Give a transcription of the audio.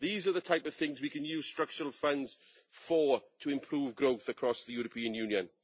These are the type of things we can use structural funds for in order to improve growth across the European Union.